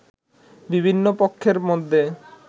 বিভিন্ন পক্ষের মধ্যে